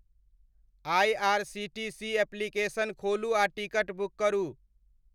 IR. C. T. C application खोलू आ ticket book करू